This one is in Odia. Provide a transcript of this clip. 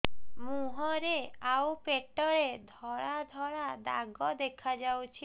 ମୁହଁରେ ଆଉ ପେଟରେ ଧଳା ଧଳା ଦାଗ ଦେଖାଯାଉଛି